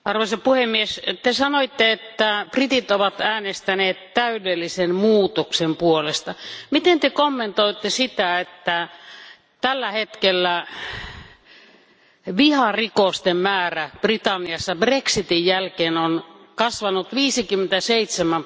Te sanoitte, että britit ovat äänestäneet täydellisen muutoksen puolesta. Miten Te kommentoitte sitä, että tällä hetkellä viharikosten määrä Britanniassa Brexitin jälkeen on kasvanut 57 prosenttia?